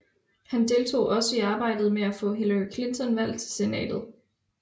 Han deltog også i arbejdet med at få Hillary Clinton valgt til Senatet